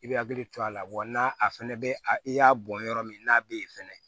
I bɛ hakili to a la wa na a fana bɛ a i y'a bɔn yɔrɔ min n'a bɛ ye fɛnɛ